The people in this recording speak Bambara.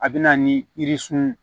A bɛ na ni yirisun